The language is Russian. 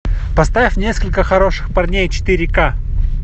поставь несколько хороших парней четыре ка